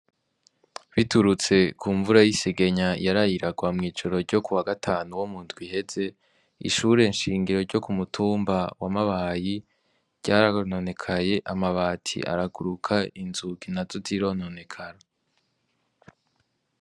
Biturutse ku mvura y'isegenya yaraye iragwa mw'ijoro ryo ku wagatanu wo mu ndwi iheze, ishure nshingiro ryo ku mutumba wa Mabayi ryarononekaye, amabati araguruka, inzugi nazo zirononekara.